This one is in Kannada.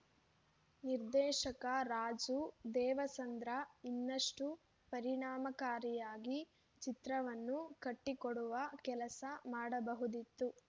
ನಿರ್ದೇಶಕ ರಾಜು ದೇವಸಂದ್ರ ಇನ್ನಷ್ಟು ಪರಿಣಾಮಕಾರಿಯಾಗಿ ಚಿತ್ರವನ್ನು ಕಟ್ಟಿಕೊಡುವ ಕೆಲಸ ಮಾಡಬಹುದಿತ್ತು